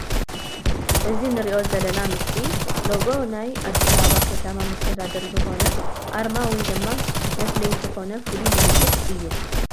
እዚ ንሪኦ ዘለና ምስሊ ሎጎ ናይ ኣዲስ ኣበባ ከተማ መስተዳድር ዝኮን ኣርማ ውይ ድማ ምፍለይ ዝኮን ፍሉይ ምልክት እዩ ።